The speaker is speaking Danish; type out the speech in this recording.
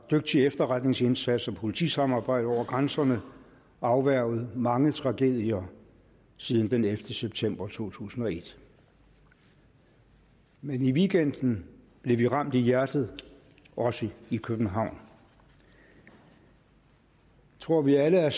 dygtig efterretningsindsats og politisamarbejde over grænserne afværget mange tragedier siden den ellevte september to tusind og et men i weekenden blev vi ramt i hjertet også i københavn jeg tror vi alle er